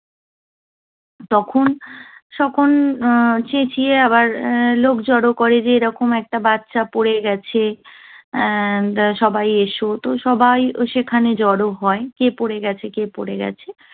তখন তখন চেঁচিয়ে আবার লোক জড়ো করে যে এরকম একটা বাচ্চা পরে গেছে। আহ সবাই এসো। তো সবাই সেখানে জড়ো হয়- কে পড়ে গেছে? কে পড়ে গেছে?